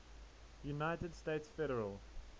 united states federal